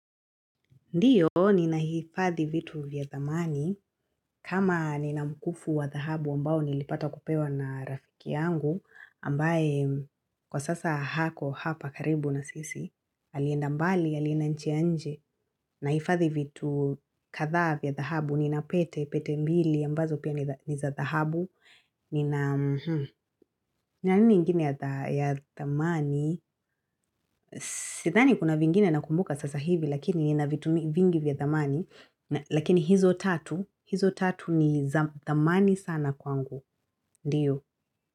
Ndio, nina hifadhi vitu vya thamani, kama nina mkufu wa dhahabu ambao nilipata kupewa na rafiki yangu, ambaye kwa sasa hako hapa karibu na sisi, alienda mbali, alienda nchi ya nje, na hifadhi vitu kadha vya dhahabu, nina pete, pete mbili, ambazo pia niza dhahabu, nina, nina nini ingine ya thamani. Sidhani kuna vingine na kumbuka sasa hivi lakini nina vitu vingi vya thamani lakini hizo tatu hizo tatu ni thamani sana kwangu ndiyo.